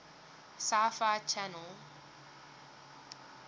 sci fi channel